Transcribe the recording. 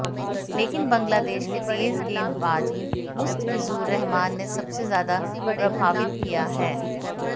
लेकिन बांग्लादेश के तेज गेंदबाज मुस्तफिजुर रहमान ने सबसे ज्यादा प्रभावित किया है